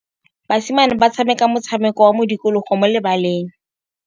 Basimane ba tshameka motshameko wa modikologô mo lebaleng.